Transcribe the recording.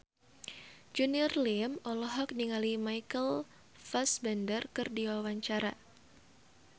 Junior Liem olohok ningali Michael Fassbender keur diwawancara